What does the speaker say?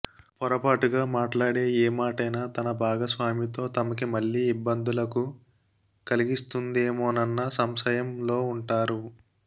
పొరపాటుగా మాట్లాడే ఏ మాటైనా తమ భాగస్వామితో తమకి మళ్ళీ ఇబ్బందులకు కలిగిస్తుందేమోనన్న సంశయంలో ఉంటారు